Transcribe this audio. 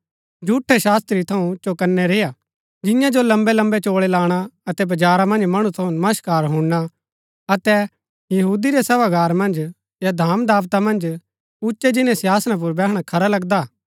झूठै शास्त्री थऊँ चौकनै रेआ जियां जो लम्बैलम्बै चोळै लाणा अतै बजारा मन्ज मणु थऊँ नमस्कार हुणना अतै यहूदी रै सभागार मन्ज या धामदाबता मन्ज उच्चै जिन्‍नै सिंहासना पुर बैहणा खरा लगन्दा हा